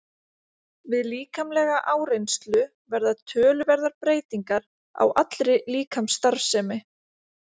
Við líkamlega áreynslu verða töluverðar breytingar á allri líkamsstarfsemi.